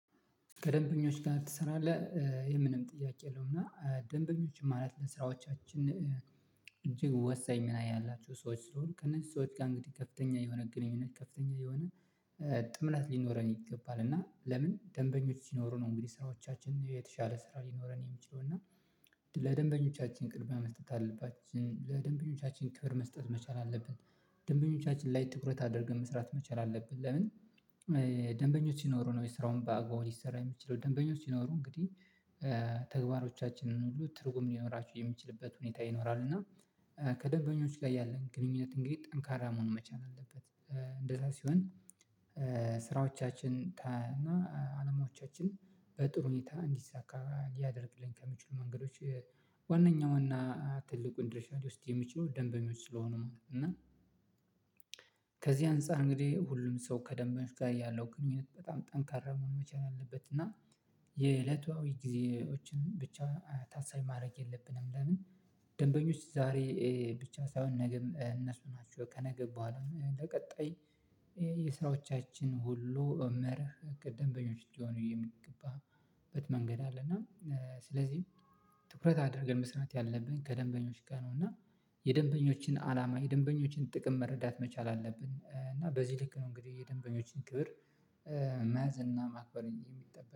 ከደንበኞች ጋር ትሰራለህ? የምንም ጥያቄ የለውም እና ደንበኞችም ማለት ለስራዎቻችን እንጂ ወሳኝ ምን አያላችሁ ሰዎች ስለሆኑ ከነዚህ ሰዎች ጋር እንግዲህ ከፍተኛ የሆነ ግንኙነት ከፍተኛ የሆነ ጥምላት ሊኖረን ይገባል እና ለምን ደንበኞች ሲኖሩ ነው እንግዲህ ስራዎቻችን የተሻለ ስራ ሊኖረን የሚችለው እና ለደንበኞቻችን ቅድሚያ መስጠት አለባችን ለደንበኞቻችን ክብር መስጠት መቻል አለብን ደንበኞቻችን ላይ ትኩረት አድርገን መስራት መቻል አለብን ለምን ደንበኞች ሲኖሩ ነው የስራውን በአግባቡ ሊሰራ የሚችለው ደንበኞች ሲኖሩ እንግዲህ ተግባሮቻችንን ሁሉ ትርጉም ሊኖራችሁ የሚችልበት ሁኔታ ይኖራል እና ከደንበኞች ጋር ያለን ግንኙነት እንግዲህ ጠንካራ መሆን መቻል አለበት እንደዛ ሲሆን ስራዎቻችን እና አለማዎቻችን በጥሩ ሁኔታ እንዲሳካ ሊያደርግልኝ ከሚችሉ መንገዶች ዋናኛው እና ትልቁን ድርሻ ልወስድ የሚችሉ ደንበኞች ስለሆኑ ማለት ነው እና ከዚህ አንፃር እንግዲህ ሁሉም ሰው ከደንበኞች ጋር ያለው ግንኙነት በጣም ጠንካራ መሆን መቻል አለበት እና የእለታዊ ጊዜዎችን ብቻ ታሳይ ማድረግ የለብንም ለምን ደንበኞች ዛሬ ብቻ ሳይሆን ነገም እነሱ ናቸው ከነገ ቦኋላ ለቀጣይ የስራዎቻችን ሁሉ መርህ ቅደም በኞች እንዲሆኑ የምትገባበት መንገድ አለ እና ስለዚህ ትኩረት አድርገን መስራት ያለብን ከደንበኞች ጋር ነው እና የደንበኞችን አላማ የደንበኞችን ጥቅም መረዳት መቻል አለብን እና በዚህ ልክ ነው እንግዲህ የደንበኞችን ክብር መያዝና ማክበር የሚጠበቅ